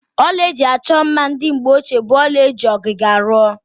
Ọla eji achọ mma ndị mgbeochie bụ ọla eji ọgịga rụọ.